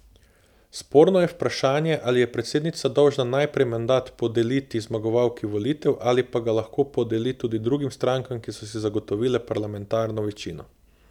Sporno je vprašanje, ali je predsednica dolžna najprej mandat podeliti zmagovalki volitev, ali pa ga lahko podeli tudi drugim strankam, ki so si zagotovile parlamentarno večino.